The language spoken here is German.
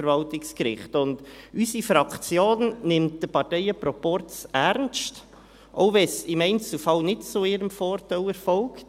Unsere Fraktion nimmt den Parteienproporz ernst, auch wenn es im Einzelfall nicht zu ihrem Vorteil erfolgt.